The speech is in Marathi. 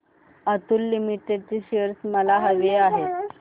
अतुल लिमिटेड चे शेअर्स मला हवे आहेत